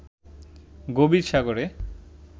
গভীর সাগরে